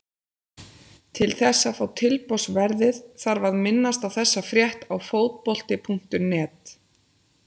Til þess að fá tilboðsverðið þarf að minnast á þessa frétt á Fótbolti.net.